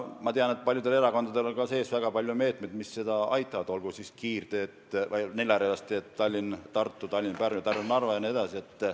Ma tean, et paljudel erakondadel on programmis väga palju meetmeid, mis aitavad seda teha, olgu need neljarealised teed Tallinna–Tartu, Tallinna–Pärnu ja Tallinna–Narva vahel jne.